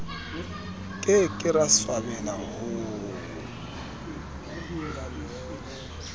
ke ke ra swabela ho